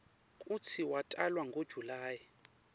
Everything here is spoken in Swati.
kutsi watalwa ngo july